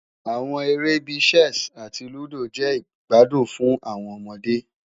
Awọn ere bii Chess ati Ludo jẹ igbadun fun awọn ọmọde